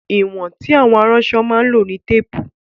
Ìwọ̀n tí àwọn aránṣọ máa ń lò ní Téépù